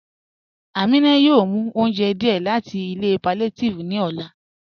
Aminà yóò mú ọ̀unjẹ́ díẹ̀ láti ilẹ̀ palliative ni ọlá."